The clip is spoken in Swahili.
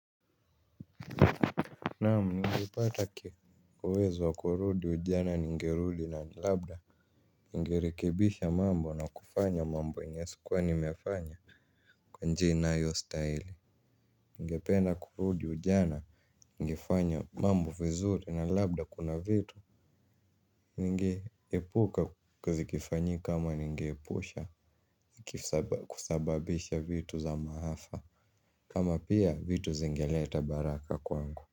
Naam ningeipata uwezo wa kurudi ujana ningerudi na labda ningerekebisha mambo na kufanya mambo yenye sikuwa nimefanya kwa njia inayostaili. Ningependa kurudi ujana ningefanya mambo vizuri na labda kuna vitu ningeepuka kuzikifanyi kama ningeposha kusababisha vitu za maafa. Kama pia vitu zingeleta baraka kwangu.